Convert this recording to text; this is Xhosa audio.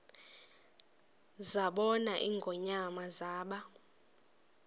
zabona ingonyama zaba